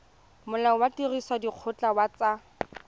molao wa tirisodikgoka wa tsa